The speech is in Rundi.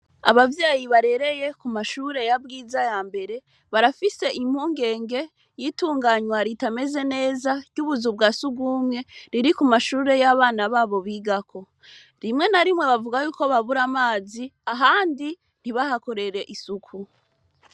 Abavyeyi barereye ku mashure ya bwiza yambere barafise impungenge y’itunganwa ritameze neza ryubuzu twa sugumwe riri kumashure y’abana babo bigako, rimwe na rimwe bavuga yuko babura amazi ahandi ntibahakorere isuku.